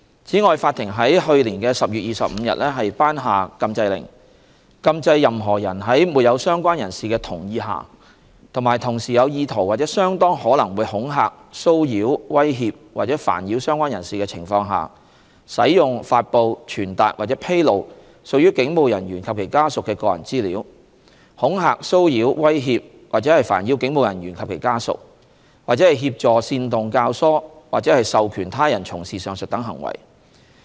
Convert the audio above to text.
此外，法庭在2019年10月25日頒下禁制令，禁制任何人在沒有相關人士的同意下及同時有意圖或相當可能會恐嚇、騷擾、威脅或煩擾相關人士的情況下使用、發布、傳達或披露屬於警務人員或其家屬的個人資料；恐嚇、騷擾、威脅或煩擾警務人員或其家屬；或協助、煽動、教唆或授權他人從事上述等行為。